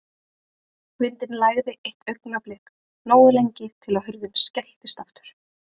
Vindinn lægði eitt augnablik, nógu lengi til að hurðin skelltist aftur.